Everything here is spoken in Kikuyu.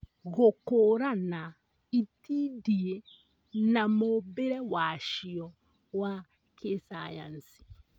Gũkũũrana itindiĩ na mũũmbĩre wacio wa kĩsayansi